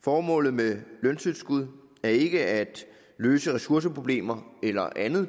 formålet med løntilskud er ikke at løse ressourceproblemer eller andet